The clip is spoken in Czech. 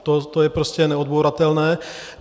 To je prostě neodbouratelné.